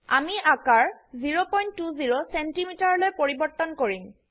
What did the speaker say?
আমি আকাৰ 020 cmলৈ পৰিবৰ্তনকৰিম